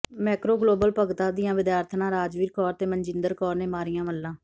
Macro global Bhagta ਦੀਆਂ ਵਿਦਿਆਰਥਣਾਂ ਰਾਜਵੀਰ ਕੌਰ ਤੇ ਮਨਜਿੰਦਰ ਕੌਰ ਨੇ ਮਾਰੀਆਂ ਮੱਲਾਂ